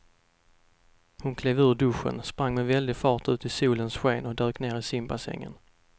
Hon klev ur duschen, sprang med väldig fart ut i solens sken och dök ner i simbassängen.